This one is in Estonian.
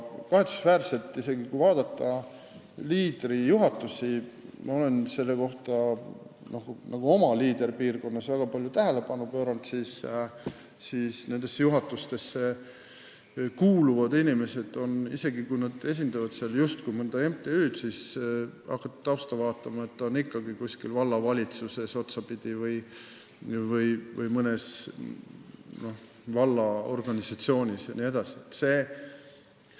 Kahetsusväärselt on nii, et kui vaadata Leaderi juhatusi – ma olen sellele oma Leader-piirkonnas väga palju tähelepanu pööranud –, siis isegi kui neisse kuuluvad inimesed esindavad seal mõnda MTÜ-d, on nad ikkagi otsapidi kuskil vallavalitsuses või mõnes vallaorganisatsioonis, kui hakata tausta vaatama.